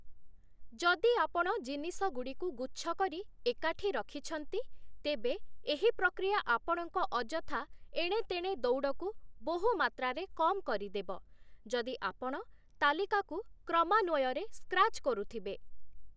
ଯଦି ଆପଣ ଜିନିଷଗୁଡ଼ିକୁ ଗୁଚ୍ଛକରି ଏକାଠି ରଖିଛନ୍ତି, ତେବେ ଏହି ପ୍ରକ୍ରିୟା ଆପଣଙ୍କ ଅଯଥା ଏଣେ ତେଣେ ଦୌଡ଼କୁ ବହୁମାତ୍ରାରେ କମ୍‌ କରିଦେବ, ଯଦି ଆପଣ ତାଲିକାକୁ କ୍ରମାନ୍ୱୟରେ ସ୍କ୍ରାଚ୍‌ କରୁଥିବେ ।